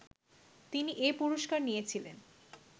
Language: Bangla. তিনি এ পুরস্কার নিয়েছিলেন